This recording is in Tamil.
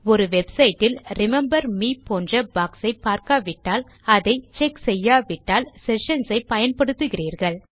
ஒரு வெப்சைட் ல் ரிமெம்பர் மே போன்ற பாக்ஸ் ஐ பார்க்காவிட்டால் அதை செக் செய்யாவிட்டால் செஷன்ஸ் ஐ பயன்படுத்துகிறீர்கள்